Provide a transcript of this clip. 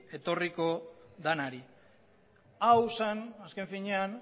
etorriko denari hau zen azken finean